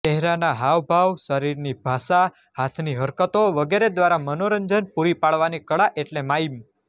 ચહેરાના હાવભાવ શરીરની ભાષા હાથની હરકતો વગેરે દ્વારા મનોરંજન પુરી પાડવાની કળા એટલે માઇમ